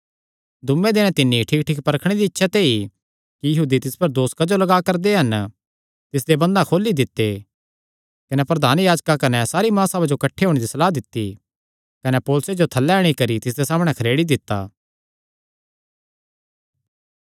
दूये दिने तिन्नी ठीकठीक परखणे दिया इच्छा ते ई कि यहूदी तिस पर दोस क्जो लग्गा करदे हन तिसदे बंधन खोली दित्ते कने प्रधान याजकां कने सारी महासभा जो किठ्ठे होणे दी सलाह दित्ती कने पौलुसे जो थल्लै अंणी करी तिसदे सामणै खरेड़ी दित्ता